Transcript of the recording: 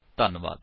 ਧੰਨਵਾਦ